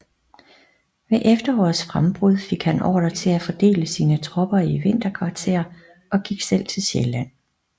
Ved efterårets frembrud fik han ordre til at fordele sine tropper i vinterkvarter og gik selv til Sjælland